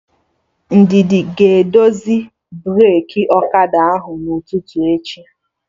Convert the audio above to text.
Ndidi ga-edozi breki ọkada ahụ n'ụtụtụ echi